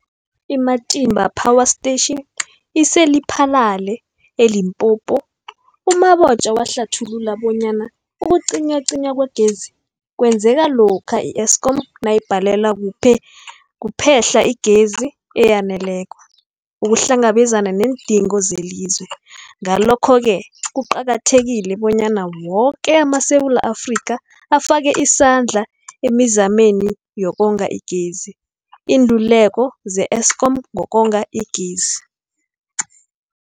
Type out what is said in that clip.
I-Matimba Power Station ise-Lephalale, eLimpopo. U-Mabotja wahlathulula bonyana ukucinywacinywa kwegezi kwenzeka lokha i-Eskom nayibhalelwa kuphe-hla igezi eyaneleko ukuhlangabezana neendingo zelizwe. Ngalokho-ke kuqakathekile bonyana woke amaSewula Afrika afake isandla emizameni yokonga igezi. Iinluleko ze-Eskom ngokonga igezi.